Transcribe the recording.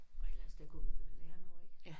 Og et eller andet sted kunne vi vel lære noget ik